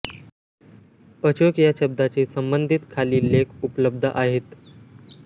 अशोक या शब्दाशी संबंधित खालील लेख उपलब्ध आहेत